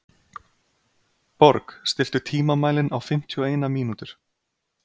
Borg, stilltu tímamælinn á fimmtíu og eina mínútur.